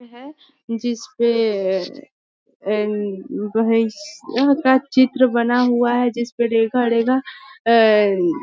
है जिस पे का चित्र बना हुआ है जिस पे --